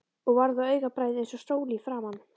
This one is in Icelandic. Og varð á augabragði eins og sól í framan.